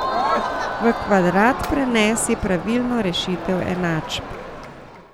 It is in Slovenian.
V kvadrat prenesi pravilno rešitev enačb.